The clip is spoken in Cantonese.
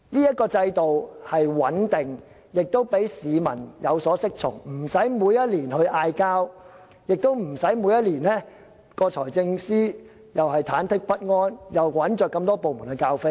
這個制度是穩定的，亦讓市民有所適從，無須每年爭拗，而財政司司長亦無須每年也忐忑不安，要多個部門做很多額外工作。